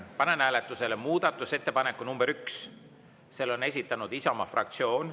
Panen hääletusele muudatusettepaneku nr 1, mille on esitanud Isamaa fraktsioon.